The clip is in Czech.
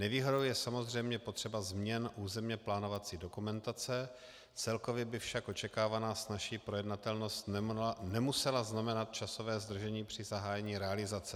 Nevýhodou je samozřejmě potřeba změn územně plánovací dokumentace, celkově by však očekávaná snazší projednatelnost nemusela znamenat časové zdržení při zahájení realizace.